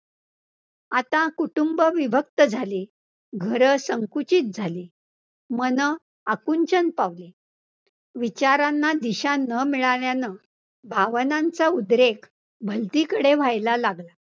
आता कुटुंब विभक्त झाले, घरं संकुचित झाले, मनं आकुंचन पावले, विचारांना दिशा न मिळाल्यानं, भावनांचा उद्रेक भलतीकडे व्हायला लागला.